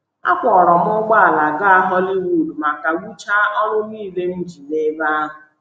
Akwọọrọ m ụgbọala gaa Hollywood ma kagbuchaa ọrụ nile m ji n’ebe ahụ.